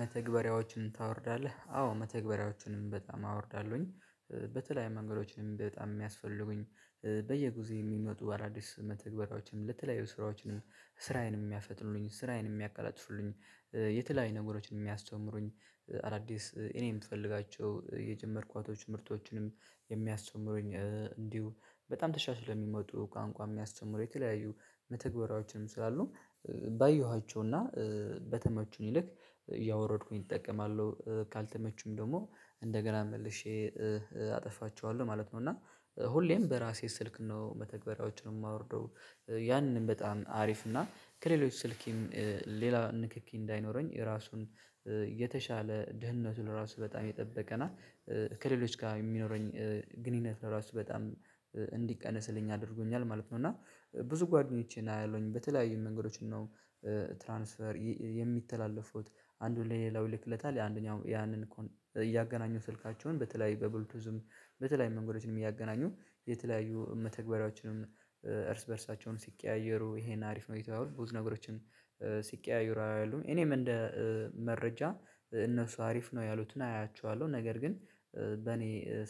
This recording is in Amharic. መተግበሪያዎችን ታወርዳለህ አዎ መተግበሪያዎችንም በጣም አወርዳለሁኝ በተለያዩ መንገዶችንም በጣም የሚያስፈልጉኝ በየጊዜ የሚመጡ አዳዲስ መተግበራያዎችም ለተለያዩ ስራዎችንም ስራዬንም የሚያፈጥኑልኝ ስራዬንም የሚያቀላጥፉልኝ የተለያዩ ነገሮችን የሚያስተምሩኝ አዳዲስ እኔም የምፈልጋቸው የጀመርኳቶች ምርቶችንም የሚያስተምሩኝ እንዲሁ በጣም ተሻሽሎ የሚመጡ ቋንቋ የሚያስተምሩ የተለያዩ መተግበራዎችም ስላሉ ባየኋቸውና በተመቹኝ ልክ እያወረድኩኝ እጠቀማለሁ ካልተመቹም ደግሞ እንደገና መልሼ አጠፋቸዋለሁ ማለት ነው። እና ሁሌም በራሴ ስልክ ነው መተግበሪያዎችን የማወርደው ያንን በጣም አሪፍ እና ከሌሎች ስልኬም ሌላ ንክኪ እንዳይኖረኝ ራሱን የተሻለ ድህነቱን ለራሱ በጣም የጠበቀናል ከሌሎች ጋር የሚኖረኝ ግንኙነት ለራሱ በጣም እንዲቀነስልኝ አድርጎኛል ማለት ነው። እና ብዙ ጓደኞቼን አያለሁኝ በተለያዩ መንገዶች ነው ትራንስፈር የሚተላለፉት አንዱን ለሌላው ይልክለታል የአንደኛው ያንን እያገናኙ ስልካቸውን በተለይ በብልቶዝም በተለይም መንገዶችንም እያገናኙ የተለያዩ መተግበሪያዎችንም እርስ በእርሳቸው ሲቀያየሩ ይሄን አሪፍ ነው እየተባባሉ ብዙ ነገሮችን ሲቀያየሩ አያለሁኝ እኔም እንደ መረጃ እነሱ አሪፍ ነው ያሉትን አያቸዋለሁ ነገር ግን በእኔ